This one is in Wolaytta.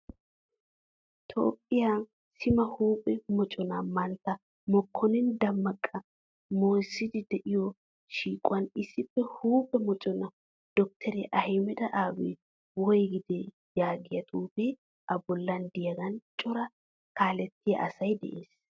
Toophphiyaa sima huuphphe mocona mantta mokonina damaqa moissidi de'iyo shiiquwan issippe huphphee moccna dokteriya ahimed abiy woygide yaagiyaa xuufe a bollan deiyagan cora kaalettiya asay de'ees.